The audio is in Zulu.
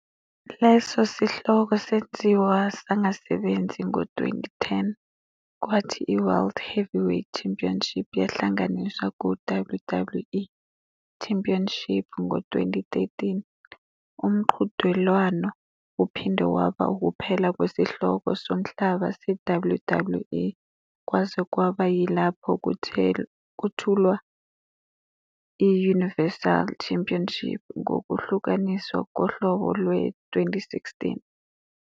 Leso sihloko senziwa sangasebenzi ngo-2010, kwathi iWorld Heavyweight Championship yahlanganiswa kuWWE Championship ngo-2013. Umqhudelwano uphinde waba ukuphela kwesihloko somhlaba se-WWE kwaze kwaba yilapho kwethulwa i-Universal Championship ngokuhlukaniswa kohlobo lwe-2016.